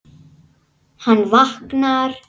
Hann vaknar.